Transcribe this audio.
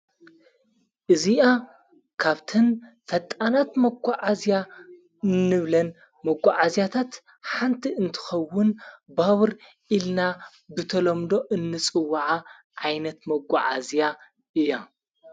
እዙኣ ካብትን ፈጣናት መኰዓእዚያ እንብለን መቋዓዚያታት ሓንቲ እንትኸውን ባቡር ኢልና ብተሎምዶ እንጽዋዓ ዓይነት መጐዓእዚያ እያ።